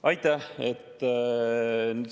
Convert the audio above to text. Aitäh!